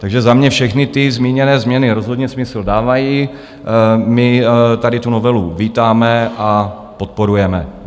Takže za mě všechny ty zmíněné změny rozhodně smysl dávají, my tady tu novelu vítáme a podporujeme.